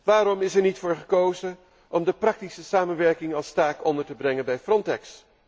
Waarom is er niet voor gekozen om de praktische samenwerking als taak onder te brengen bij Frontex?